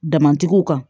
Damatigiw kan